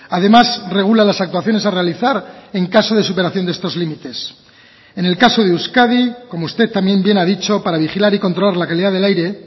además regula las actuaciones a realizar en caso de superación de estos límites en el caso de euskadi como usted también bien ha dicho para vigilar y controlar la calidad del aire